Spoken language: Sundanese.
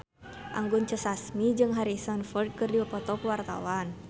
Anggun C. Sasmi jeung Harrison Ford keur dipoto ku wartawan